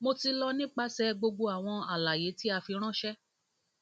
mo ti lọ nipasẹ gbogbo awọn alaye ti a firanṣẹ